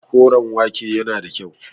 Koren wake yana da kyau.